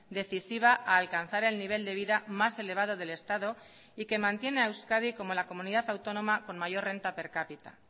decisiva a alcanzar el nivel de vida más elevado del estado y que mantiene a euskadi como la comunidad autónoma con mayor renta per cápita